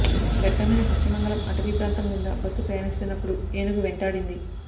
దట్టమైన సత్యమంగళం అటవీ ప్రాంతం గుండా బస్సు ప్రయాణిస్తున్నప్పుడు ఏనుగు వెంటాడింది